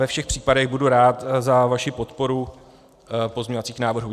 Ve všech případech budu rád za vaši podporu pozměňovacích návrhů.